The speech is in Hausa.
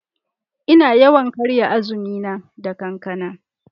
Ina yawan karya azumi na da kankana.